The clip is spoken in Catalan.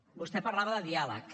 vostè parlava de diàleg